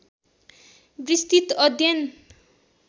विस्तृत अध्ययन